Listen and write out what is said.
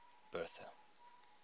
bertha